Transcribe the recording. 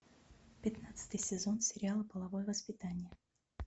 пятнадцатый сезон сериала половое воспитание